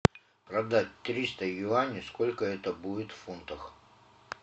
продать триста юаней сколько это будет в фунтах